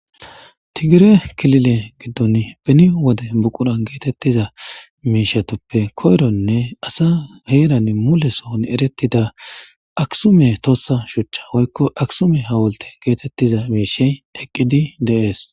tigire kilile giddon beni wode buqura geetettiza meishatoppe koyronne asa heeran mulesoon erettida aksume tossa shuchcha woykko aksume ha wolte geetettiza miishey eqqidi deees